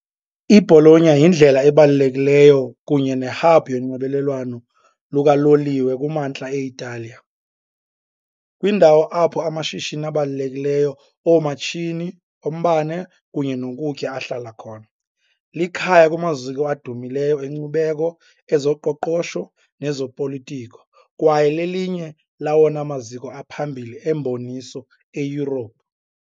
I-Bologna yindlela ebalulekileyo kunye ne-hub yonxibelelwano lukaloliwe kumantla e-Italiya, kwindawo apho amashishini abalulekileyo oomatshini, ombane kunye nokutya ahlala khona. Likhaya kumaziko adumileyo enkcubeko, ezoqoqosho nezopolitiko, kwaye lelinye lawona maziko aphambili emboniso eYurophu .